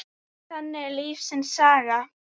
Þannig er lífsins saga.